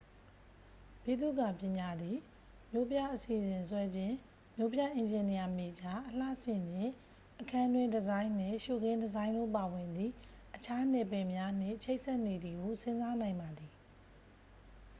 ဗိသုကာပညာသည် မြို့ပြအစီစဉ်ဆွဲခြင်း မြို့ပြအင်ဂျင်နီယာမေဂျာ အလှဆင်ခြင်း အခန်းတွင်းဒီဇိုင်းနှင့် ရှုခင်းဒီဇိုင်းတို့ပါဝင်သည့် အခြားနယ်ပယ်များနှင့် ချိတ်ဆက်နေသည်ဟု စဉ်းစားနိုင်ပါသည်